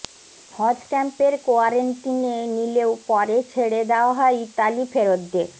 হজ ক্যাম্পের কোয়ারেন্টিনে নিলেও পরে ছেড়ে দেওয়া হয় ইতালি ফেরতদের